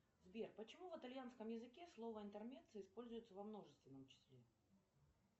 сбер почему в итальянском языке слово интермеццо используется во множественном числе